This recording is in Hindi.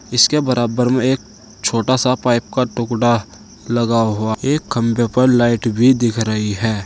इसके बराबर में एक छोटा सा पाइप का टुकड़ा लगा हुआ एक खंभे पर लाइट भी दिख रही है।